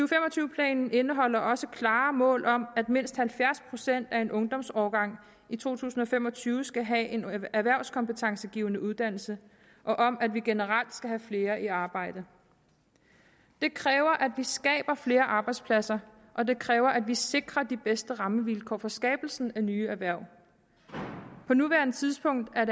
planen indeholder også klare mål om at mindst halvfjerds procent af en ungdomsårgang i to tusind og fem og tyve skal have en erhvervskompetencegivende uddannelse og om at vi generelt skal have flere i arbejde det kræver at vi skaber flere arbejdspladser og det kræver at vi sikrer de bedste rammevilkår for skabelsen af nye erhverv på nuværende tidspunkt er